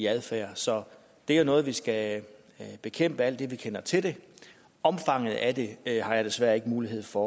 adfærd så det er noget vi skal bekæmpe alt det vi kender til det omfanget af det har jeg desværre ikke mulighed for